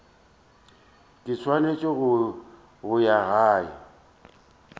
ke swanetse go ya gae